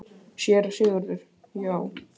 SÉRA SIGURÐUR: Já!